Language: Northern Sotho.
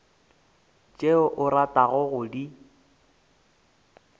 tšeo o ratago go di